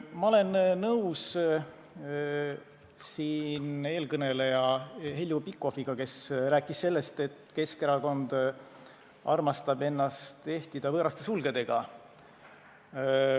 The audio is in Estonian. Ma olen nõus eelkõneleja Heljo Pikhofiga, kes rääkis sellest, et Keskerakond armastab ennast ehtida võõraste sulgedega.